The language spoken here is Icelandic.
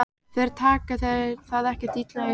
Þeir taka það ekkert illa upp.